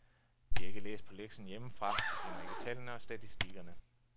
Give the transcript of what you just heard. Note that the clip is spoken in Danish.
De har ikke læst på lektien hjemmefra, de kender ikke tallene og statistikkerne.